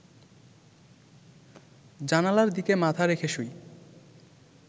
জানালার দিকে মাথা রেখে শুই